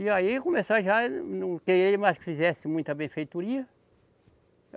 E aí começou já, não quererem mais que fizesse muita benfeitoria.